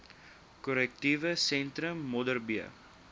korrektiewe sentrum modderbee